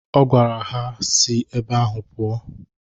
Ọ gwara ha na ha si ebe ahụ pụọ